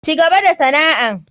Cigaba da sana'an.